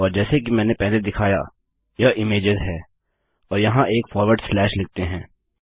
और जैसे कि मैंने पहले दिखाया यह इमेजेस है और यहाँ एक फॉरवर्ड स्लैश लिखते हैं